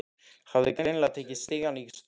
Hafði greinilega tekið stigann í stökki.